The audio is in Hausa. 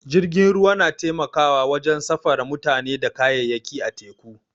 Jirgin ruwa na taimakawa wajen safara mutane da kayayyaki a teku.